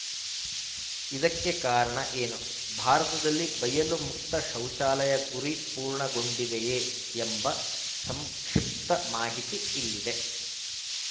ಇದಕ್ಕೆ ಕಾರಣ ಏನು ಭಾರತದಲ್ಲಿ ಬಯಲು ಮುಕ್ತ ಶೌಚಾಲಯ ಗುರಿ ಪೂರ್ಣಗೊಂಡಿದೆಯೇ ಎಂಬ ಸಂಕ್ಷಿಪ್ತ ಮಾಹಿತಿ ಇಲ್ಲಿದೆ